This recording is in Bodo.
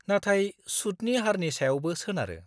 -नाथाय सुतनि हारनि सायावबो सोनारो।